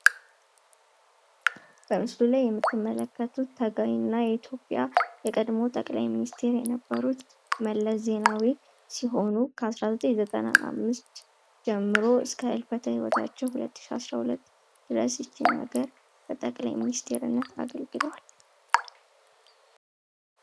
በምስሉ ላይ የምትመለከቱት ጠቅላይ እና የኢትዮጵያ የቀድሞው ሚኒስተር የነበሩት መለስ ዜናዊ ሲሆኑ ከ1995 ጀምሮ እስከ ህልፈተ-ህይወታቸው 2012 ድረስ ይችን ሀገር በጠቅላይ ሚኒስተርነት አገልግለዋል።